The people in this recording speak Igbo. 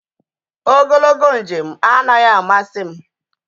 Ogologo njem anaghị amasị m